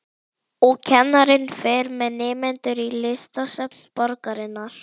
Hann var í þumalskrúfu Breta og gapastokki Þjóðverja.